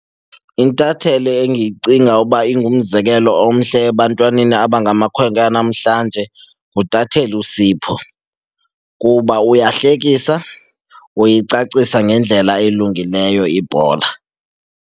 Intatheli engiyicinga uba ingumzekelo omhle ebantwaneni abangamakhwenkwe anamhlanje nguntatheli uSipho kuba uyahlekisa, uyicacisa ngendlela elungileyo ibhola.